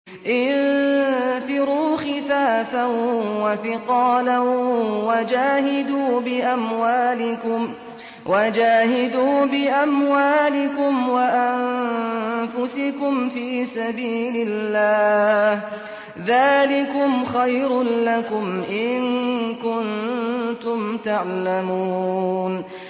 انفِرُوا خِفَافًا وَثِقَالًا وَجَاهِدُوا بِأَمْوَالِكُمْ وَأَنفُسِكُمْ فِي سَبِيلِ اللَّهِ ۚ ذَٰلِكُمْ خَيْرٌ لَّكُمْ إِن كُنتُمْ تَعْلَمُونَ